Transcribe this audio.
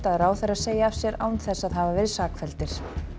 ráðherrar segi af sér án þess að hafa verið sakfelldir